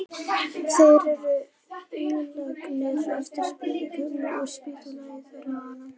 Þeir eru ílangir eftir sprungustefnunni en strýtulaga þvert á hana.